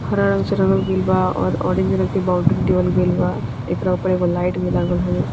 हरा रंग से रंगल गईल बा और ऑरेंज रंग के बाउंड्री देवल गईल बा | एकरा ऊपर एगो लाइट भी लागल हवे |